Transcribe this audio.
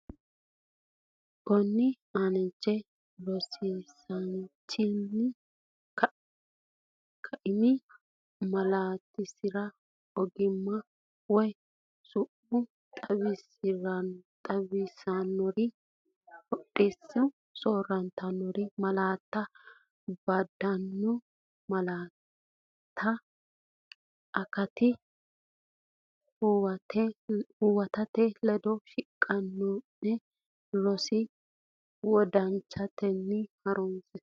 Konninni aanche rosiisaanchi’ne kaimi malaatinsara ogimma woy su’ma xawissannore hoodisatenni soorrantanno malaatta bandanna malaattate akatta huwatate ledo shiqishanno’ne roso wodanchatenni harunse.